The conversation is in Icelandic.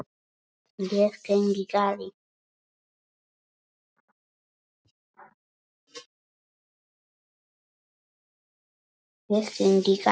Ég kyngi galli.